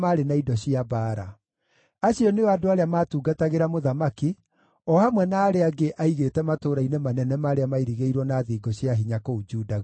Acio nĩo andũ arĩa maatungatagĩra mũthamaki, o hamwe na arĩa angĩ aigĩte matũũra-inĩ manene marĩa mairigĩirwo na thingo cia hinya kũu Juda guothe.